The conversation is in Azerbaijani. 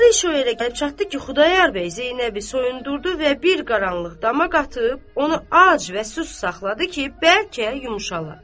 Axırı iş o yerə gəlib çatdı ki, Xudayar bəy Zeynəbi soyundurdu və bir qaranlıq dama qatıb onu ac və susuz saxladı ki, bəlkə yumşala.